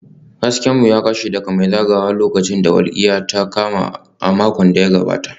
Hasken mu ya kashe daga mai zagayawa lokacin da walƙiya ta kama a makon da ya gabata